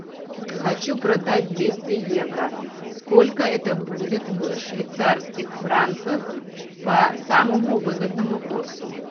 хочу продать двести евро сколько это будет в швейцарских франках по самому выгодному курсу